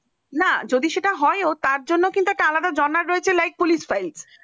না যদি সেটা হয় ও তার জন্য সেটা জানার রয়েছে একটা like police file